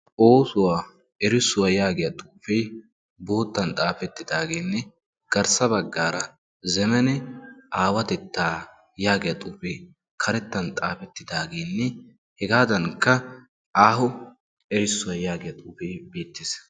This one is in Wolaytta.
"oosuwaa erissuwaa" yaagiyaa xuufee boottan xaafettidaageenne garssa baggaara "zemene aawatettaa" yaagiya xuufee karettan xaafettidaageenne hegaadankka "aaho erissuwaa" yaagiya xuufee beettes.